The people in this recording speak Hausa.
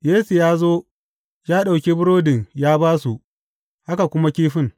Yesu ya zo, ya ɗauki burodin ya ba su, haka kuma kifin.